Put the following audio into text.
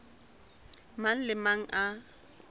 mang le a mang a